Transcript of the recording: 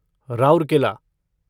Rourkela